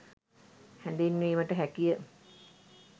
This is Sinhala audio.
හැඳින්වීමට හැකිය